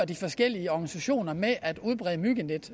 de forskellige organisationer kører med at udbrede myggenet